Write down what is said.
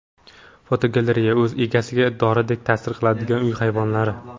Fotogalereya: O‘z egasiga doridek ta’sir qiladigan uy hayvonlari.